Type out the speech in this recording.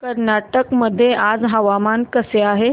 कर्नाटक मध्ये आज हवामान कसे आहे